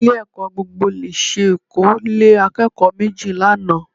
Ilé-ẹ̀kọ́ gbogbonìṣe Èkó lé akẹ́kọ̀ọ́ méjì lánàá